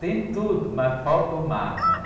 Tem tudo, mas falta o mar, né?